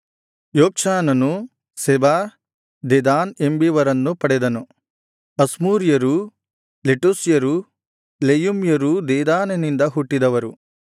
ಯೊಕ್ಷಾನನು Sheba Dedan ಎಂಬಿವರನ್ನು ಪಡೆದನು ಅಶ್ಮೂರ್ಯರೂ ಲೆಟೂಶ್ಯರೂ ಲೆಯುಮ್ಯರೂ ದೆದಾನನಿಂದ ಹುಟ್ಟಿದವರು